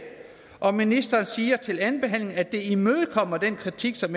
og ministeren siger til andenbehandlingen at det imødekommer den kritik som